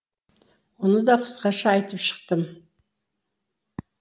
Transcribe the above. оны да қысқаша айтып шықтым